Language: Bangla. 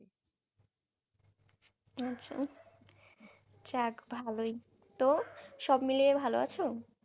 আচ্ছা যাক ভালই তো সব মিলিয়ে ভালো আছো?